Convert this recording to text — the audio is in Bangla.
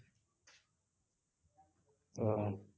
ওহ